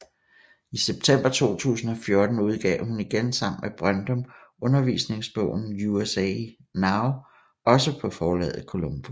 I september 2014 udgav hun igen sammen med Brøndum undervisningsbogen USA Now også på forlaget Columbus